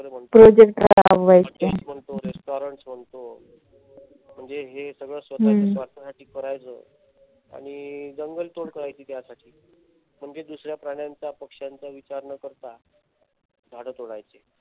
hotels बांधतो restaurants म्हणतो म्हणजे हे सगळ स्वतःच्या स्वार्थासाठी करायचं. आणि जंगल तोड करायची त्यासाठी. म्हणजे दुसऱ्या प्राणांचा पक्षांचा विचार न करता झाड तोडायची.